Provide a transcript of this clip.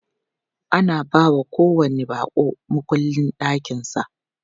Ana bawa kowanni baƙo mukullin ɗakin sa.